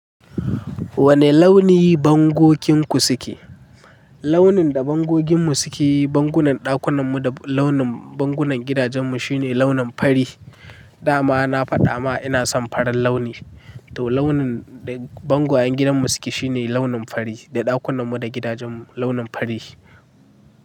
Wane launi bangokinku suke? Launin da bangoginmu sukeyi, bangunan ɗakunan mu da launin bangunan gidajen mu shine launin fari. Dama na faɗa ma ina son farin launi. To launin da bangwayan gidanmu suke shine launin fari, da ɗakunan mu da gidajen mu launin fari.